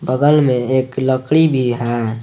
बगल में एक लकड़ी भी है।